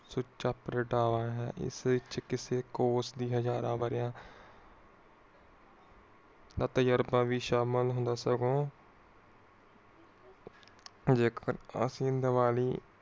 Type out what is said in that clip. ਹਜ਼ਾਰਾਂ ਵਰ੍ਹਿਆਂ ਦਾ ਤਜੁਰਬਾ ਭੀ ਸ਼ਾਮਿਲ ਹੁੰਦਾ ਸਗੋਂ